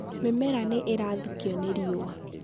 mĩmera nĩ ĩrathũkio nĩ riũa